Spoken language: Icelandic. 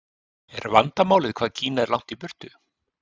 Er vandamálið hvað Kína er langt í burtu?